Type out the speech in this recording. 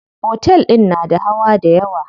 Otel din na da hawa dayawa.